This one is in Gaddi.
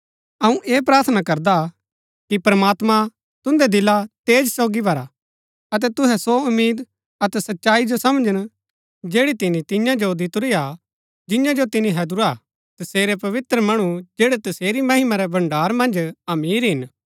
अऊँ ऐह प्रार्थना करदा कि प्रमात्मां तुन्दै दिला तेज सोगी भरा अतै तुहै सो उम्मीद अतै सच्चाई जो समझन जैड़ी तिनी तियां जो दितुरी हा जियां जो तिनी हैदुरा हा तसेरै पवित्र मणु जैड़ै तसेरी महिमा रै भण्ड़ार मन्ज अमीर हिन